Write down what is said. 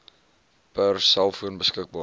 per selfoon beskikbaar